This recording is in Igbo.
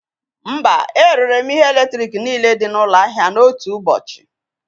Mba, erere m ihe eletrik niile dị n'ụlọ ahịa n'otu ụbọchị